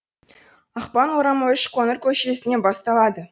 ақпан орамы үшқоңыр көшесінен басталады